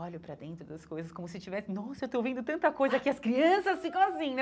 Olho para dentro das coisas como se tivesse... Nossa, eu estou vendo tanta coisa que as crianças ficam assim, né?